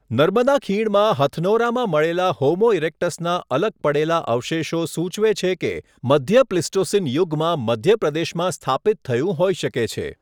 નર્મદા ખીણમાં હથનોરામાં મળેલા હોમો ઇરેક્ટસના અલગ પડેલા અવશેષો સૂચવે છે કે મધ્ય પ્લિસ્ટોસીન યુગમાં મધ્ય પ્રદેશમાં સ્થાપિત થયું હોઇ શકે છે.